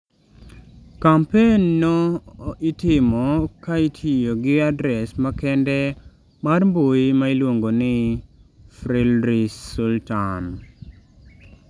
Kampen no itimo ka itiyo gi adres makende mar mbui ma iluongo ni #FreeIdrisSultan.